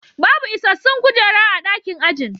Babu isassun kujera a dakin ajin